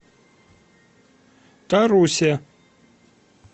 тарусе